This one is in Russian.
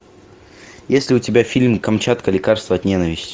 есть ли у тебя фильм камчатка лекарство от ненависти